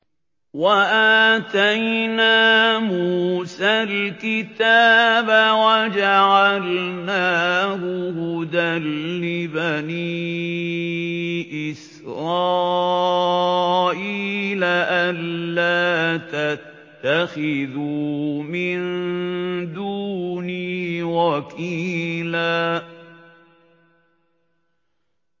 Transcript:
وَآتَيْنَا مُوسَى الْكِتَابَ وَجَعَلْنَاهُ هُدًى لِّبَنِي إِسْرَائِيلَ أَلَّا تَتَّخِذُوا مِن دُونِي وَكِيلًا